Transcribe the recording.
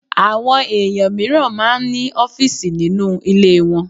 Àwọn èèyàn mìíràn máa ń ní ọfísì nínú ilé wọn